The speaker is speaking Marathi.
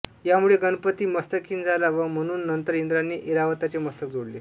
यामुळे गणपती मस्तकहीन झाला व म्हणून नंतर इंद्राने ऐरावताचे मस्तक जोडले